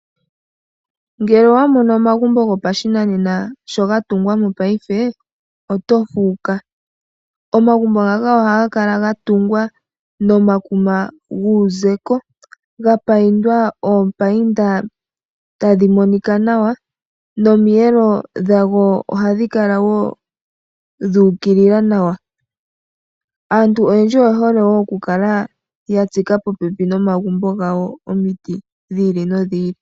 Ngele owamono omagumbo gopashinanena sho gatungwa mongashingeyi otofuuka. Omagumbo ngaka ohaga kala gatungwa nomakuma guuzeko gapaindwa oopainda tadhi monika nawa nomiyelo dhago ohadhi kala wo dhuukilila nawa. Aantu oyendji oyehole wo okukala yatsika popepi nomagumbo gawo omiti dhi ili nodhi ili.